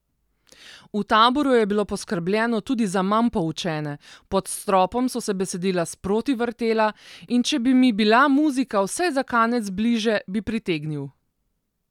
V Taboru je bilo poskrbljeno tudi za manj poučene, pod stropom so se besedila sproti vrtela, in če bi mi bila muzika vsaj za kanec bliže, bi pritegnil.